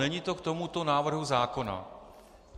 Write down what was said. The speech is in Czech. Není to k tomuto návrhu zákona.